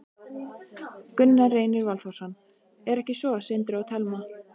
Gunnar Reynir Valþórsson: Er ekki svo, Sindri og Telma?